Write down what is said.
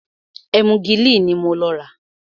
Ẹ́múgìlì ní mo lọ rà.